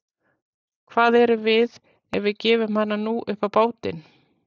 Hvað erum við ef við gefum hana nú upp á bátinn?